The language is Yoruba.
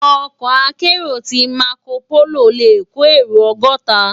Òkò àkèéró ti màkópóló lé kó éró ògòtá